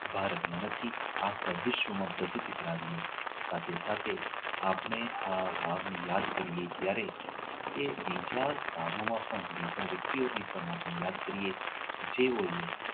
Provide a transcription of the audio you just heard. ભારતમાં નથી આખા વિશ્વમાં પ્રસિદ્ધ કરાવીએ સાથે સાથે આપણે આ રાણી કી વાવને યાદ કરીએ ત્યારે એ બીજા ગામોમાં પણ બીજા વ્યક્તિઓને પણ આપને યાદ કરીએ જેઓ એ